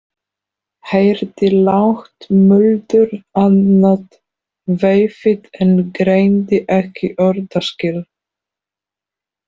Heyrði lágt muldur annað veifið en greindi ekki orðaskil.